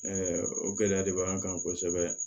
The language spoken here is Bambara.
o gɛlɛya de b'an kan kosɛbɛ